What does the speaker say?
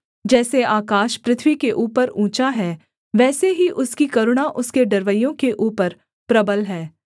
जैसे आकाश पृथ्वी के ऊपर ऊँचा है वैसे ही उसकी करुणा उसके डरवैयों के ऊपर प्रबल है